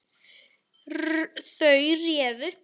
Þau réðu.